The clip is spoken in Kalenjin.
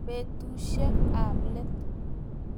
Petuusyek ap let.